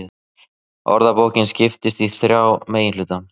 Orðabókin skiptist í þrjá meginhluta.